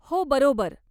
हो, बरोबर.